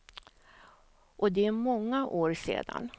Och det är många år sedan.